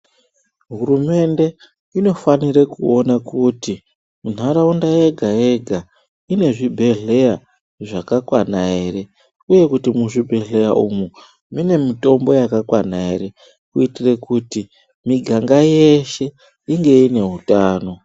Hurumende inofanire kuona kuti ntaraunda yega yega inezvibhedhleya zvakakwana ere uye kuti muzvibhedhleya umu mune mutombo yakakwana ere kuitire kuti miganga yeshe inge ine utano.